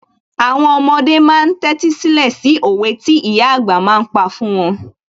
Àwọn ọmọdé ma ń tẹ́tí sílẹ̀ sí òwe tí ìyà àgbà ma ń pa fún wọn